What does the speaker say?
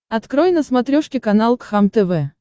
открой на смотрешке канал кхлм тв